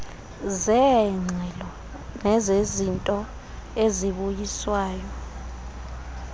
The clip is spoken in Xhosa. zeengxelo nezezinto ezibuyiswayo